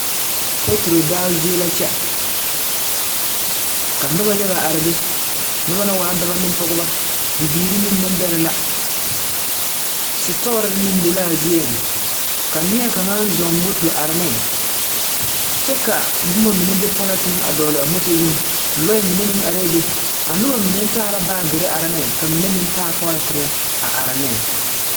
Peturo daao zie la kyԑ. Ka noba yaga are be, noba naŋ waa d4bͻ ne pͻgebͻ. Bibiiri neŋ nembԑrԑ la. Setͻͻre meŋ be la a zieŋ, ka neԑkaŋa a zͻͻŋ moto a are neŋ kyԑ ka boma mine be pͻlͻnteŋeŋ a dͻgele a moto zuŋ. Lͻԑ mine meŋ arԑԑ be. A noba mine taa la baagere are ne ka mine meŋ taa pͻlͻntenne a are neŋ.